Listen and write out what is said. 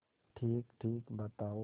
ठीकठीक बताओ